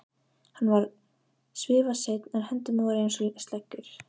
Hann var svifaseinn en hendurnar voru einsog sleggjur.